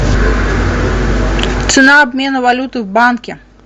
цена обмена валюты в банке